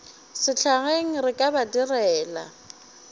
sehlageng re ka ba direla